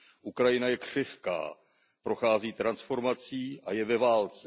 Ukrajina je křehká, prochází transformací a je ve válce.